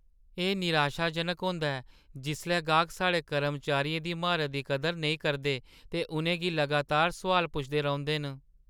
एह् निराशाजनक होंदा ऐ जिसलै गाह्क साढ़े कर्मचारियें दी म्हारता दी कदर नेईं करदे ते उʼनें गी लगातार सोआल पुछदे रौंह्‌दे न।